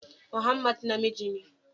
Muhammad namiji ne